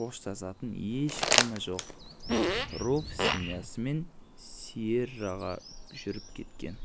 қоштасатын ешкімі жоқ руфь семьясымен сиерраға жүріп кеткен